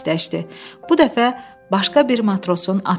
Bu dəfə başqa bir matrosun atı öldü.